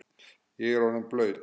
Ég er orðinn blaut